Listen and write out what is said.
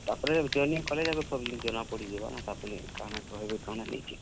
ତାପ୍ ରେ joining କଲେ ଯାକ ସବୁ ଜିନିଷ୍ ଜନା ପଡିଯିବା, ତାପରେ କାଣା କର୍ ମି କାଣା ନାଇ ଯେ।